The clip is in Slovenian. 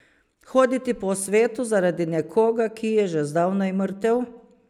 Hoditi po svetu zaradi nekoga, ki je že zdavnaj mrtev!